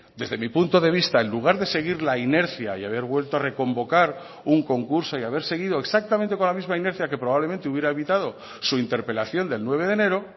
desde mi punto de vista en lugar de seguir la inercia y haber vuelto a reconvocar un concurso y haber seguido exactamente con la misma inercia que probablemente hubiera evitado su interpelación del nueve de enero